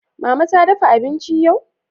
Mama ta dafa abinci yau?